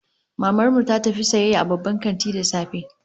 Maman mu ta tafi sayayya a babban kanti da safe